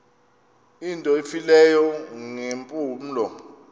into efileyo ngeempumlo